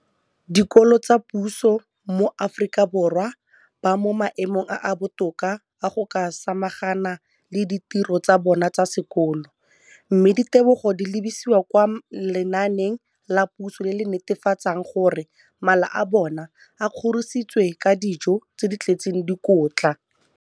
dikolo tsa puso mo Aforika Borwa ba mo maemong a a botoka a go ka samagana le ditiro tsa bona tsa sekolo, mme ditebogo di lebisiwa kwa lenaaneng la puso le le netefatsang gore mala a bona a kgorisitswe ka dijo tse di tletseng dikotla.